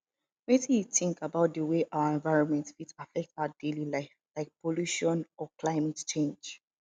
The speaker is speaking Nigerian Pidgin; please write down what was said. wetin you think about di way our environment fit affect our daily life like pollution or climate change